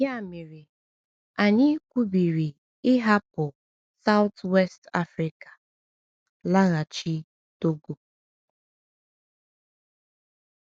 Ya mere, anyị kwubiri ịhapụ South-West Africa laghachi Togo.